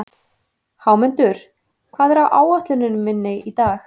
Hámundur, hvað er á áætluninni minni í dag?